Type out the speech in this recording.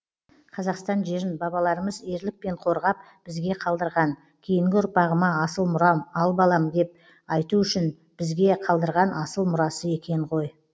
қазақстан жерін бабаларымыз ерлікпен қорғап бізге қалдырған кейінгі ұрпағыма асыл мұрам ал балам деп айту үшін бізге қалдырған асыл мұрасы екен ғой